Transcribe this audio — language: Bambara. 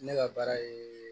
Ne ka baara ye